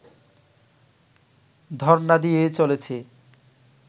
ধর্ণা দিয়েই চলেছি